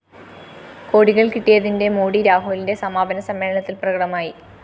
കോടികള്‍ കിട്ടിയതിന്റെ മോടി രാഹുലിന്റെ സമാപന സമ്മേളനത്തില്‍ പ്രകടമായി